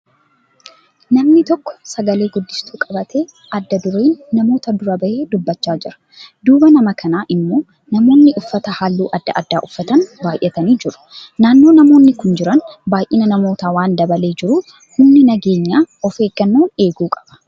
Namni tokkko sagalee guddistuu qabatee adda dureen namoota dura bahee dubbachaa jira. Duuba nama kana immoo namoonni uffata halluu adda adda uffatan baayyatanii jiru. Naannoo namoonni kun jiran baayinni namoota waan dabalee jiruuf humni nageenyaa of eeggannoon eeguu qaba.